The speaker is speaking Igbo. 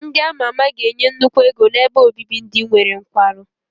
Ndị a ma ama ga-enye nnukwu ego n'ebe obibi ndị nwere nkwarụ.